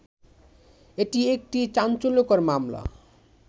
এটি একটি চাঞ্চল্যকর মামলা